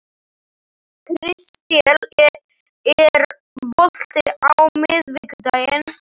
Kristel, er bolti á miðvikudaginn?